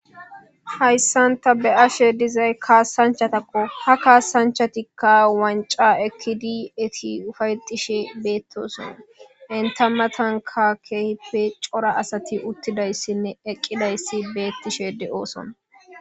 Hayssan ta be ashe dizay kaasanchatakko ha kaasanchatikka wanca ekkidi eti ufayxishe beettoson enta matanka keeh pe cora asati uttidayssinne eqqidayssi beettishe de7ooson.